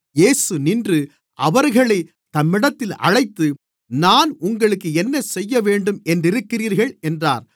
இயேசு நின்று அவர்களைத் தம்மிடத்தில் அழைத்து நான் உங்களுக்கு என்னசெய்யவேண்டும் என்றிருக்கிறீர்கள் என்றார்